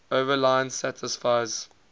overline satisfies